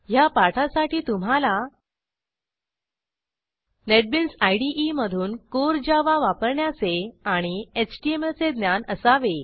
ह्या पाठासाठी तुम्हाला नेटबीन्स इदे मधून कोर जावा वापरण्याचे आणि एचटीएमएल चे ज्ञान असावे